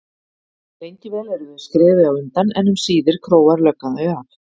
Lengi vel eru þau skrefi á undan en um síðir króar löggan þau af.